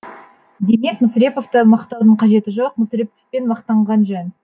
демек мүсіреповты мақтаудың қажеті жоқ мүсіреповпен мақтанған жөн